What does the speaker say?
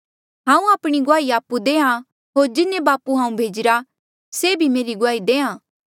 हांऊँ आपणी गुआही आपु देहां होर जिन्हें बापू हांऊँ भेजिरा से भी मेरी गुआही देहां